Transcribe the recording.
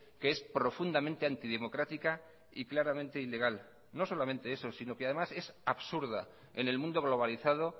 que es profundamente antidemocrática y claramente ilegal no solamente eso sino que además es absurda en el mundo globalizado